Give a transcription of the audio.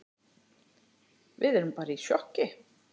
Við erum bara í sjokki.